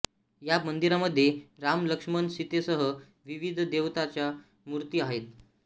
या मंदिरामध्ये राम लक्ष्मण सीतेसह विविध देवतांच्या मूर्ती आहेत